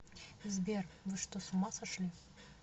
сбер вы что с ума сошли